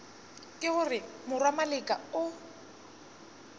ke gore morwa maleka o